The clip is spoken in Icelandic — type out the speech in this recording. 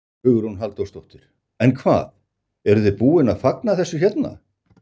Hugrún Halldórsdóttir: En hvað, eruð þið búin að fagna þessu hérna?